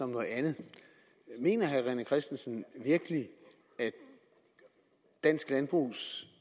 noget andet mener herre rené christensen virkelig at dansk landbrugs